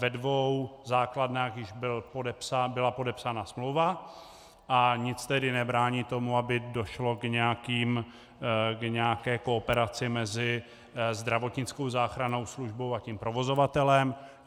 Ve dvou základnách již byla podepsána smlouva, a nic tedy nebrání tomu, aby došlo k nějaké kooperaci mezi zdravotnickou záchrannou službou a tím provozovatelem.